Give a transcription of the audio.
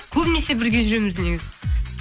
көбінесе бірге жүреміз негізі